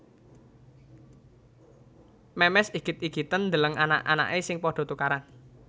Memes igit igiten ndeleng anak anake sing podo tukaran